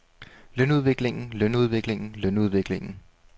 lønudviklingen lønudviklingen lønudviklingen